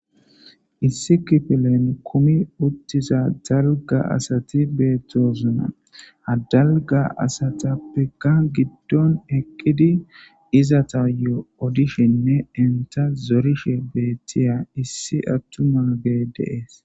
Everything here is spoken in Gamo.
Issi kifilen kumi uttiza dalgga asati beettosona. Ha dalgga asatappeka giddon eqqidi izatayo odishinne enta zorishe beettiya issi attumaagee de7ees.